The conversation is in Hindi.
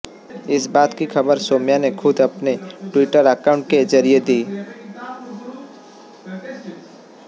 इस बात की खबर सौम्या ने खुद अपने ट्विटर अकॉउंट के जरिए दी